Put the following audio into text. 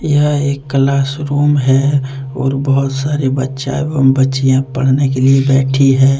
यह एक class room है और बहुत सारे बच्चा एवं बच्चियां पढ़ने के लिए बैठी है।